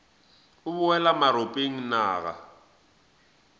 o boela maropeng na ga